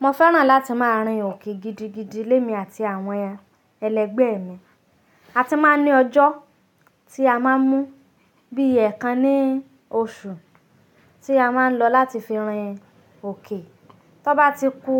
Mo fẹ́ràn láti máa rìn òkè gidigidi lémi àti àwọn ẹlẹgbẹ́ mi. A ti máa ń ní ọjọ́ tí a máa ń mú bí ẹ̀kan ní oṣù tí a máa ń lọ láti fi rìn òkè. Tó bá ti ku